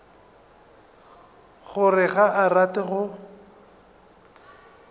gore ga a rate go